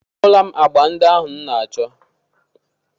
A hụla m agbà ndị ahụ m na-achọ